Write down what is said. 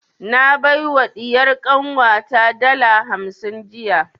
Na bai wa ɗiyar kanwa ta dala hamsin jiya